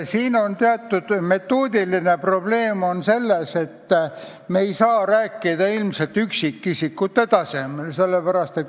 Teatud metoodiline probleem on siin selles, et me ei saa ilmselt rääkida üksikisikute tasandilt.